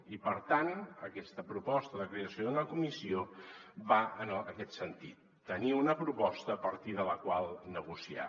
i per tant aquesta proposta de creació d’una comissió va en aquest sentit tenir una proposta a partir de la qual negociar